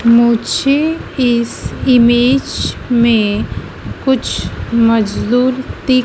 मुझे इस इमेज में कुछ मजदूर दिख--